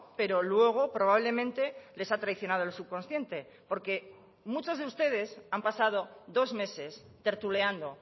pero luego probablemente les ha traicionado el subconsciente porque muchos de ustedes han pasado dos meses tertuleando